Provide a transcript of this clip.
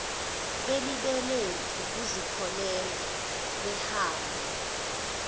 belibele ukuzipholela behamba